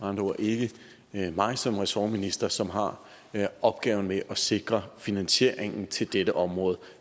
andre ord ikke mig som ressortminister som har opgaven med at sikre finansieringen til dette område